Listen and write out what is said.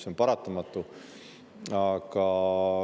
See on paratamatu.